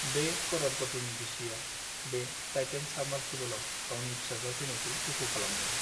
बे कर'रपटिनि बिसिआ बे टाइटेन साबमार्सिबोलआव गावनि फिसाज्ला थैनायखौ दुखु खालामदों।